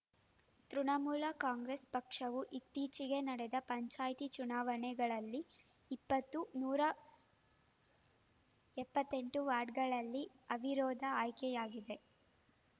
ತೃಣಮೂಲ ಕಾಂಗ್ರೆಸ್‌ ಪಕ್ಷವು ಇತ್ತೀಚೆಗೆ ನಡೆದ ಪಂಚಾಯ್ತಿ ಚುನಾವಣೆಗಳಲ್ಲಿ ಇಪ್ಪತ್ತು ನೂರ ಎಪ್ಪತ್ತೆಂಟು ವಾರ್ಡ್‌ಗಳಲ್ಲಿ ಅವಿರೋಧ ಆಯ್ಕೆಯಾಗಿತ್ತು